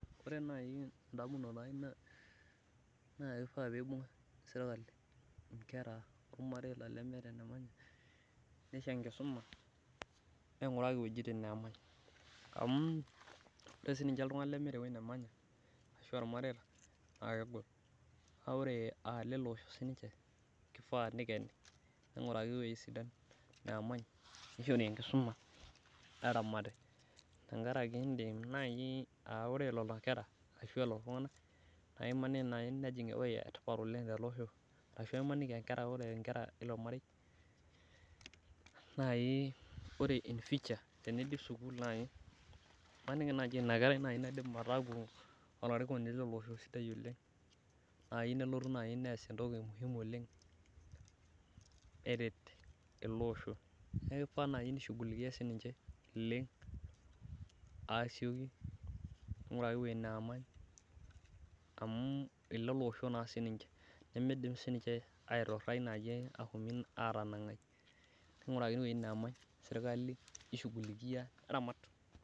ore naaji edamunoto ai naa kishaa pee ibung serikali ilmareita lemeeta enemanya nisho enkisuma ninguraki iwejitin neemany, amu ore sii niche iltunganak lemeeta eweji nemanya naa kegol, aa ile loshoo siniche kifaa nikeni, neramati tengaraki ore naaji nenakera naa kepuonu aku iltunganak letipat oleng tele osho, imaniki naaji ore inakerai naa ninye nalotu aaku olarikoni sidai oleng nees entoki muhimu oleng' neret ele osho neeku kishaa pee inguraki iwejitin nemany neramat serikali.